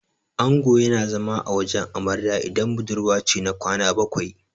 Ango yana zama a wajen amarya idan budurwa ce, na kwana bakwai.